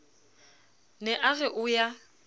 ne a re o ya